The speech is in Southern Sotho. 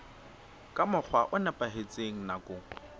ka mokgwa o nepahetseng nakong